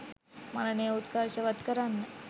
මරණය උත්කර්ෂවත් කරන්න